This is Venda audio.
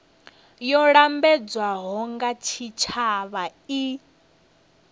yo lambedzwaho nga tshitshavha i